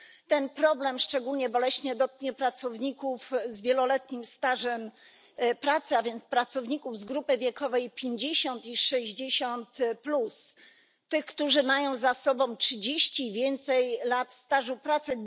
Ten problem szczególnie boleśnie dotknie pracowników z wieloletnim stażem pracy, a więc pracowników z grupy wiekowej 50 i 60, tych którzy mają za sobą 30 i więcej lat stażu pracy.